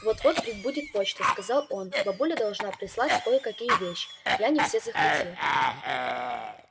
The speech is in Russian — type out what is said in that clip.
вот-вот прибудет почта сказал он бабуля должна прислать кое-какие вещи я не все захватил